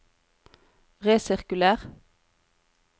resirkuler